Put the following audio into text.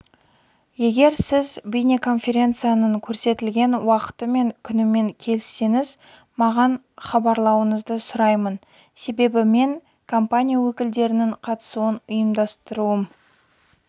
егер сіз бейнеконференцияның көрсетілген уақыты және күнімен келіссеңіз маған хабарлауыңызды сұраймын себебі мен компания өкілдерінің қатысуын ұйымдастыруым